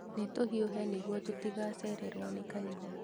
Nĩtũhiũhe nĩguo tũtigacererwo nĩ kanitha